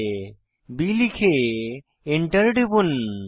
b লিখে Enter টিপুন